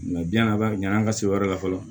a ba ɲɛn an ka se yɔrɔ la fɔlɔ